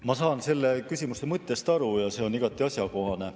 Ma saan küsimuse mõttest aru ja see on igati asjakohane.